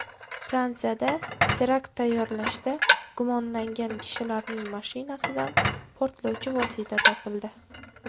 Fransiyada terakt tayyorlashda gumonlangan kishilarning mashinasidan portlovchi vosita topildi.